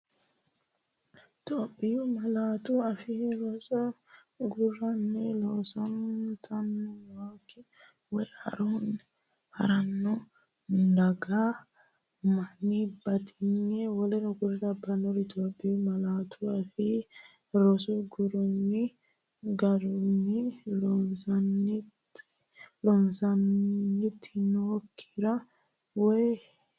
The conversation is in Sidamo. Itophiyu Malaatu Afii Roso Garunni loosantinokkiri wayi ha’ranno doogga Manni batinye w k l Itophiyu Malaatu Afii Roso Garunni loosantinokkiri wayi ha’ranno.